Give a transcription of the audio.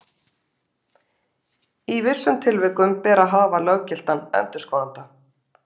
Í vissum tilvikum ber að hafa löggiltan endurskoðanda.